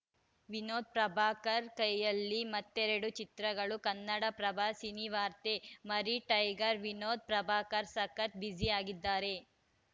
ವಿನೋದ್‌ ಪ್ರಭಾಕರ್‌ ಕೈಯಲ್ಲಿ ಮತ್ತೆರಡು ಚಿತ್ರಗಳು ಕನ್ನಡಪ್ರಭ ಸಿನಿವಾರ್ತೆ ಮರಿ ಟೈಗರ್‌ ವಿನೋದ್‌ ಪ್ರಭಾಕರ್‌ ಸಖತ್‌ ಬ್ಯುಸಿ ಆಗಿದ್ದಾರೆ